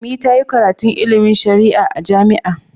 Ummi ta yi karatun ilimin shari'a a jami'a.